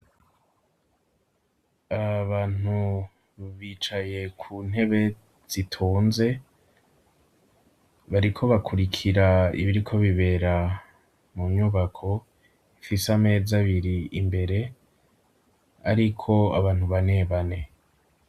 Abantu bicaye ku ntebe zitonze, bariko bakurikira ibiriko bibera mu nyubako ifise ameza abiri imbere, ariko abantu bane bane.